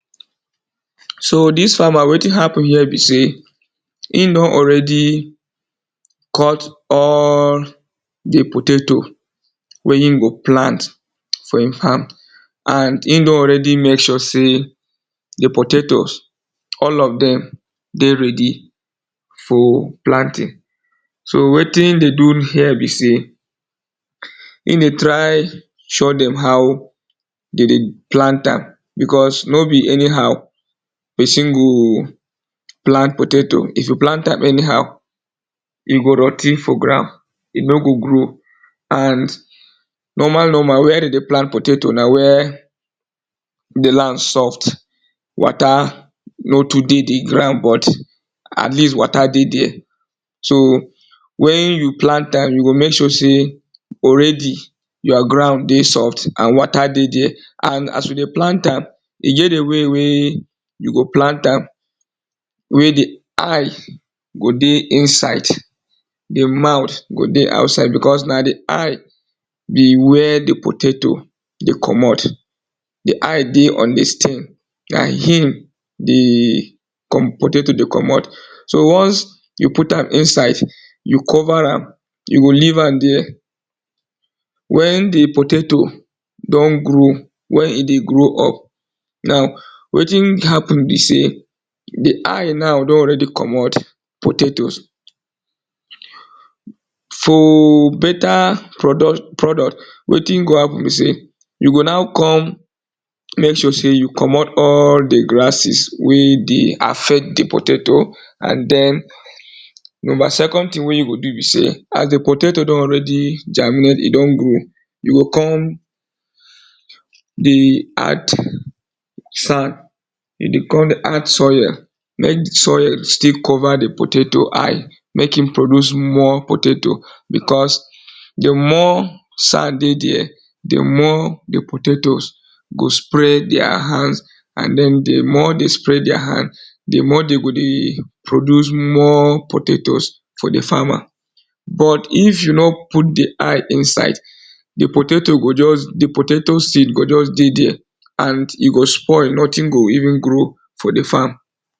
So dis farmer wetin happen here be sey, e don already cut all di potato wey im go plant for im farm and im don already make sure say di potatoes all of dem dey ready for planting so wetin e dey do here be sey e dey try show dem how dem dey plant am because no be anyhow person go plant potato, if you plant am anyhow e go rot ten for ground e no go grow and normal normal where dem dey plant potato na where di land soft water no too dey di ground but at least water dey there, so when you plant am you go make sure sey already your ground dey soft and water dey there and as you dey plant am e get the way wey you go plant am wey di eye go dey inside den mouth go dey outside because na di eye be where di potato dey komot di eye dey on this thing na him di kom potato dey komot so once you put am inside you cover am, you go leave am there when di potato don grow when e dey grow up now wetin happen be sey di eye now don already komot potatoes for better produ produts wetin go happen be sey you go now come make sure sey you komot all the grasses wey dey affect the potato and den number second thing wey you go do be sey as di potato don already germinate e don grow, you go come dey add sand you go come dey add soil make di soil still cover di potato eye make e produce more potato because di more sand dey there di more di potatoes go spray their hands and den di more dey spray their hands di more dem go dey produce more potatoes for di farmer but if you no put di eye inside, di potato go just di potato seed go just dey there and e go spoil nothing go even grow for di farm.